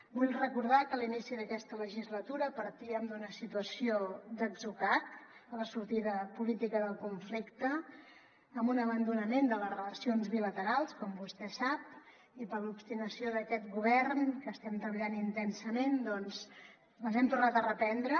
vull recordar que a l’inici d’aquesta legislatura partíem d’una situació d’atzucac a la sortida política del conflicte amb un abandonament de les relacions bilaterals com vostè sap i per l’obstinació d’aquest govern que estem treballant intensament doncs les hem tornat a reprendre